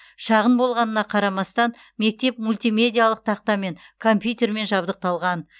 шағын болғанына қарамастан мектеп мультимедиалық тақтамен компьютермен жабдықталған